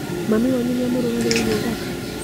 Mami wanyu nĩamũrugagĩra irio thaka?